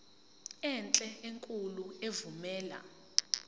enhle enkulu evumela